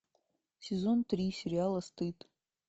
сезон три сериала стыд